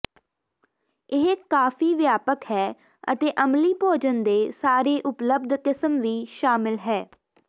ਇਹ ਕਾਫ਼ੀ ਵਿਆਪਕ ਹੈ ਅਤੇ ਅਮਲੀ ਭੋਜਨ ਦੇ ਸਾਰੇ ਉਪਲਬਧ ਕਿਸਮ ਵੀ ਸ਼ਾਮਲ ਹੈ